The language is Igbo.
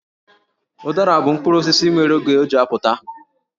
Ụdara bụ mkpụrụ osisi nwere oge o ji apụta.